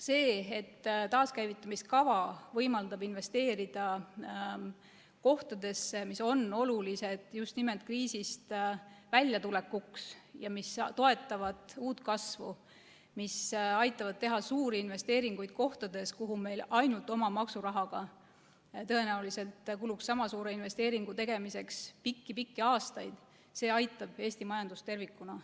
See, et taaskäivitamise kava võimaldab investeerida kohtadesse, mis on olulised just nimelt kriisist väljatulekuks ja mis toetavad uut kasvu ja mis aitavad teha suuri investeeringuid kohtadesse, kuhu meil ainult oma maksurahaga sama suure investeeringu tegemiseks tõenäoliselt kuluks pikki-pikki aastaid, aitab Eesti majandust tervikuna.